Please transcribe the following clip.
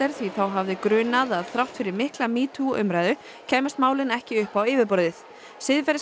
því þá hafði grunað að þrátt fyrir mikla metoo umræðu kæmust málin ekki upp á yfirborðið